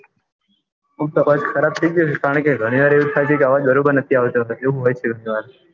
આમતો અઆજ ખરાબ થઇ ગયો છે ગણી વાર એવું થાય છે કે અવાજ બરોબર નઈ આવતો એવું હોય છે ગણી વાર